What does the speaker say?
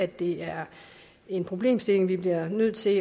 det er en problemstilling vi bliver nødt til